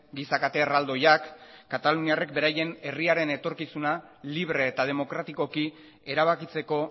giza kate erraldoiak kataluniarrek beraien herriaren etorkizuna libre eta demokratikoki erabakitzeko